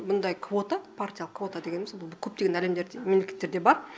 мұндай квота партиялық квота дегеніміз бұл көптеген әлемдер мемлекеттерде бар